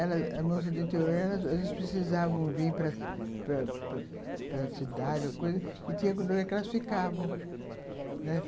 Elas, moças do interior, elas precisavam vir para para para cidade ou coisa e tinha lugar que elas ficavam, né.